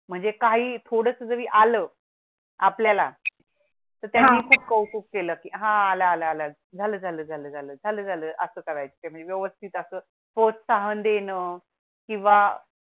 म्हणजे काही थोडं जरी आलं. आपल्या ला त्या ची खूप कौतुक केलं की हा आल आल आल झालं झालं झालं असं करायचं व्यवस्थित असं प्रोहसान देन किंवा